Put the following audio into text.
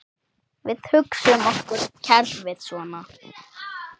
Við hugsum okkur kerfið svona